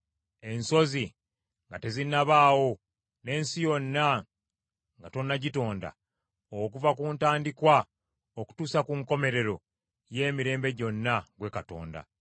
Ensozi nga tezinnabaawo, n’ensi yonna nga tonnagitonda; okuva ku ntandikwa okutuusa ku nkomerero y’emirembe gyonna, ggwe Katonda.